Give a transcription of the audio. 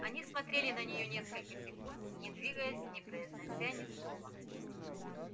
они смотрели на неё несколько секунд не двигаясь не произнося ни слова